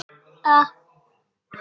Blóðið lagaði úr höfði hans.